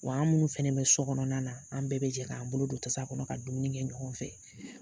Wa an minnu fana bɛ sokɔnɔna na an bɛɛ bɛ jɛ k'an bolo don tasa kɔnɔ ka dumuni kɛ ɲɔgɔn fɛ